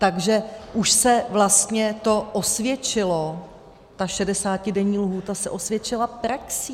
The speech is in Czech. Takže už se vlastně to osvědčilo, ta 60denní lhůta se osvědčila praxí.